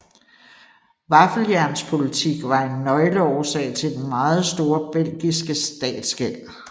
Vaffeljernspolitik var en nøgleårsag til den meget store belgiske statsgæld